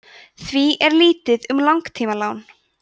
því er lítið um langtímalán